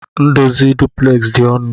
Ndozi duplex di onụ.